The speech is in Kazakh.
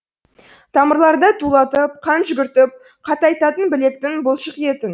тамырларда тулатып қан жүгіртіп қатайтатын білектің бұлшық етін